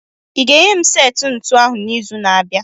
I ga-enye m seti ntụnụ ahụ n'izu na-abịa.